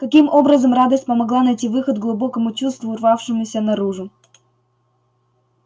каким образом радость помогла найти выход глубокому чувству рвавшемуся наружу